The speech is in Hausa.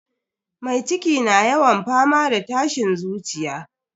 Mai ciki na yawan fama da tashin zuciya.